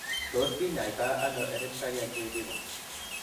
Tos kinyaita ono hereditary angioedema?